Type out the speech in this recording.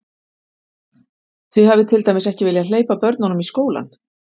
Þið hafið til dæmis ekki viljað hleypa börnunum í skólann?